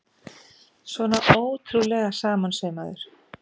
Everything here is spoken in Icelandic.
Svona ótrúlega samansaumaður!